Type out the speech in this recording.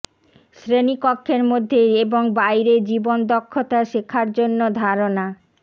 শ্রেণীকক্ষের মধ্যে এবং বাইরে জীবন দক্ষতা শেখার জন্য ধারণা